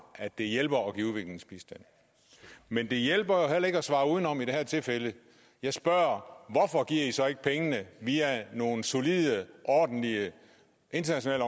at det hjælper at give udviklingsbistand men det hjælper heller ikke at svare udenom i det her tilfælde jeg spørger hvorfor giver i så ikke pengene via nogle solide ordentlige internationale